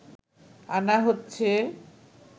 আনা হচ্ছে